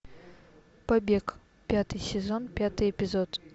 побег пятый сезон пятый эпизод